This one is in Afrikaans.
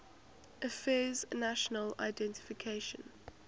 affairs national identification